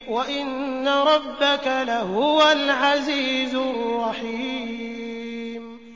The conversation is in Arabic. وَإِنَّ رَبَّكَ لَهُوَ الْعَزِيزُ الرَّحِيمُ